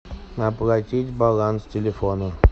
оплатить баланс телефона